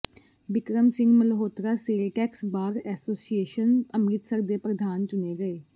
Bikram Singh Malhotra sale tax bar association Amritsar ਦੇ ਪ੍ਰਧਾਨ ਚੁਣੇ ਗਏ